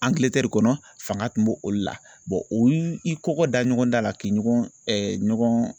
Angiletɛri kɔnɔ fanga kun b'olu la o y'i i kɔkɔ da ɲɔgɔn da la k'i ɲɔgɔn ɲɔgɔn